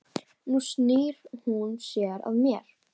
Nú snýr hún sér að mér.